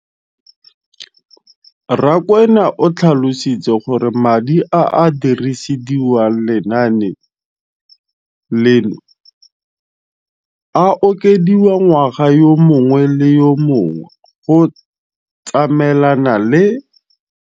Rakwena o tlhalositse gore madi a a dirisediwang lenaane leno a okediwa ngwaga yo mongwe le yo mongwe go tsamaelana le